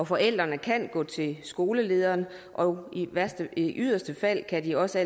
forældrene kan gå til skolelederen og i yderste fald kan de også